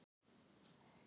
Skyndilega kallaði Inga